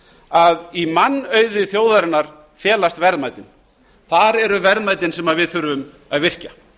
að í mannauði þjóðarinnar felast verðmætin þar eru verðmætin sem við þurfum að virkja